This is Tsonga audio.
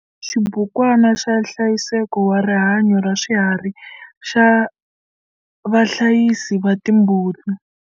Xibukwana xa nhlayiseko wa rihanyo raswiharhi xa vahlayisi va timbuti.